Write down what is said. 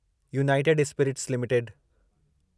United Spirits limited